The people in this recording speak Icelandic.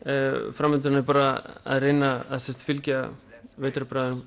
framhaldið er bara að reyna að fylgja